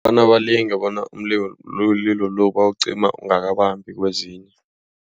Bona balinge bona umlilo loyo mlilo lo bawucima ungabambi kwezinye.